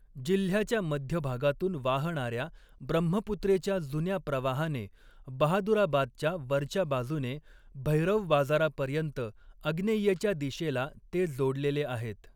जिल्ह्याच्या मध्यभागातून वाहणाऱ्या ब्रह्मपुत्रेच्या जुन्या प्रवाहाने बहादुराबादच्या वरच्या बाजूने भैरव बाजारापर्यंत आग्नेयेच्या दिशेला ते जोडलेले आहेत.